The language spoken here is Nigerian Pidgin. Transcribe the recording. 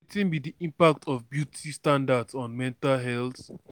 wetin be di impact of beauty standards on mental health?